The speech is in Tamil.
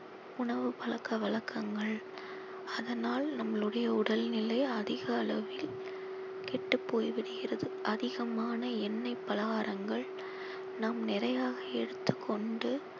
உணவு பழக்க வழக்கங்கள் அதனால் நம்மளுடைய உடல்நிலை அதிக அளவில் கெட்டுப் போய் விடுகிறது அதிகமான எண்ணெய் பலகாரங்கள் நாம் நிறையாக எடுத்துக் கொண்டு